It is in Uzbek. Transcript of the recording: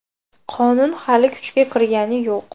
Qonun hali kuchga kirgani yo‘q.